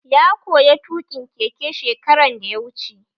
Ya koya tuƙin keke shekaran da ya wuce